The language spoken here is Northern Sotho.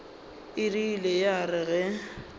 e rile ya re ge